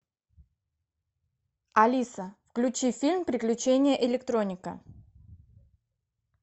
алиса включи фильм приключения электроника